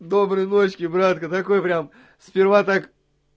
доброй ночи братка такой прям сперва так